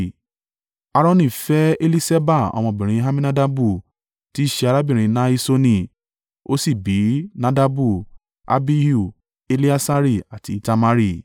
Aaroni fẹ́ Eliṣeba ọmọbìnrin Amminadabu tí í ṣe arábìnrin Nahiṣoni, ó sì bí Nadabu, Abihu, Eleasari àti Itamari.